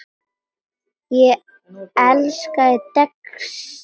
Ég elskaði Dexter.